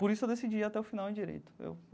Por isso eu decidi ir até o final em direito eu.